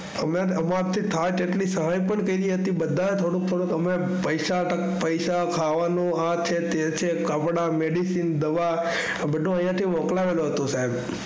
અમે અમારા થી થાય એટલી સહાય પણ કરી હતી બધા એ થોડી થોડી પૈસા હતા પૈસા અને ખાવાનું છે તે છે કપડાં મેડિસિન દવા બધું અહીંયા થી મોક્લાવેલું હતું સાહેબ.